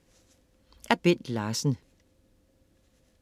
Af Bent Larsen